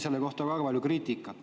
Selle kohta tuli väga palju kriitikat.